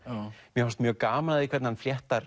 mér fannst mjög gaman hvernig hann fléttar